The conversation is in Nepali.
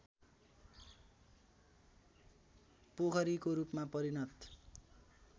पोखरीको रूपमा परिणत